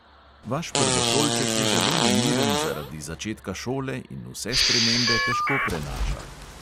Vaš prvošolček je zelo nemiren zaradi začetka šole in vse spremembe težko prenaša.